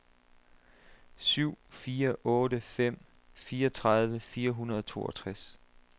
syv fire otte fem fireogtredive fire hundrede og toogtres